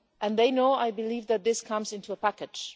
They know I believe that this comes in a package.